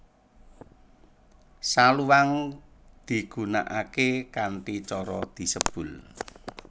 Saluang digunakake kanthi cara disebul